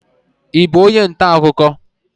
Ị bụ onye ntaakụkọ?